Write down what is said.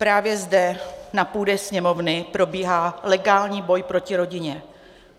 Právě zde na půdě Sněmovny probíhá legální boj proti rodině.